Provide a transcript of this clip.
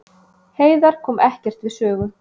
Heiðar kom ekkert við sögu